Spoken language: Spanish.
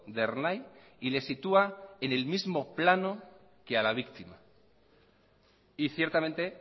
de ernai y le sitúa en el mismo plano que a la víctima y ciertamente